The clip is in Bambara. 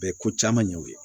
Bɛɛ ko caman ɲɛw ye